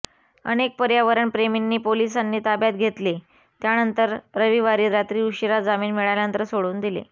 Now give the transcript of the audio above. अनेक पर्यावरणप्रेमींनी पोलिसांनी ताब्यात घेतले त्यानंतर रविवारी रात्री उशीरा जामीन मिळाल्यानंतर सोडून दिले